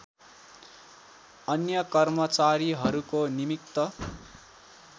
अन्य कर्मचारीहरूको निमित्त